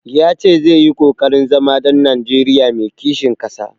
Ya ce zai yi ƙoƙarin zama ɗan Najeriya mai kishin ƙasa.